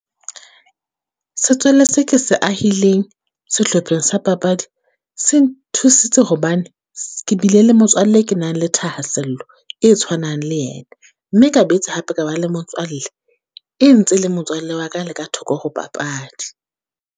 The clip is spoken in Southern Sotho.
Setswalle se ke se ahileng sehlopheng sa papadi. Se nthusitse hobane, ke bile le motswalle e ke nang le thahasello e tshwanang le yena. Mme ka boetse hape ka ba le motswalle, e ntse le motswalle wa ka le ka thoko ho papadi.